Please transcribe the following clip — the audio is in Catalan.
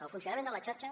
el funcionament de la xarxa